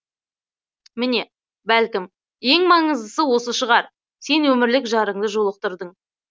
міне бәлкім ең маңыздысы осы шығар сен өмірлік жарыңды жолықтырдың